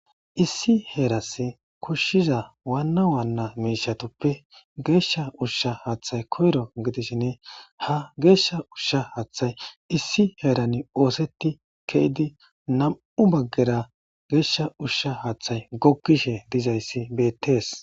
Issi heerass kushshiza waanna waanna miishatoppe geeshsha ushsha haaththay koyro gidisshinne ha geeshsha ushsha haaththay issi heerani ooseti keydi naa'u baggera geeshsha ushsha haaththay gokkishe dizayssi bettees.